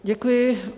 Děkuji.